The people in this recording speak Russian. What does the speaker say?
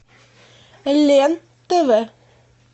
лен тв